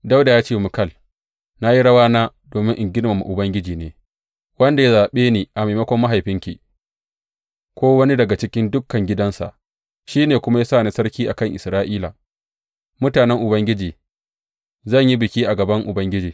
Dawuda ya ce wa Mikal, Na yi rawana domin in girmama Ubangiji ne, wanda ya zaɓe ni a maimakon mahaifinki ko wani daga cikin dukan gidansa, shi ne kuma ya sa ni sarki a kan Isra’ila, mutanen Ubangiji, zan yi biki a gaban Ubangiji.